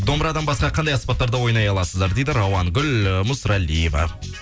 домбырадан басқа қандай аспаптарда ойнай аласыздар дейді рауангүл мүсірәлиева